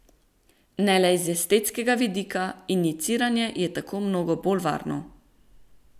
Ne le iz estetskega vidika, injiciranje je tako mnogo bolj varno.